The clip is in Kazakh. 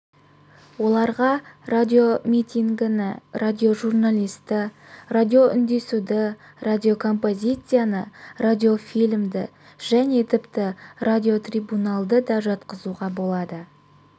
оларға радиомитингіні радиожиналысты радио үндесуді радиоком-позицияны радиофильмді және тіпті радиотрибуналды да жатқызуға болады